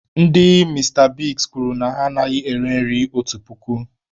Ndị Mista Bigs kwuru na ha anaghị ere nri otu puku.